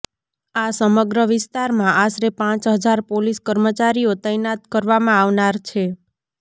આ સમગ્ર વિસ્તારમાં આશરે પાંચ હજાર પોલીસ કર્મચારીઓ તૈનાત કરવામાં આવનાર છે